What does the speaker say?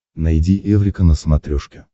найди эврика на смотрешке